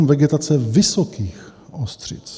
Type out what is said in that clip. M1.7 Vegetace vysokých ostřic.